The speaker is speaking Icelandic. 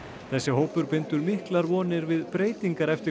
þessi hópur bindur miklar vonir við breytingar eftir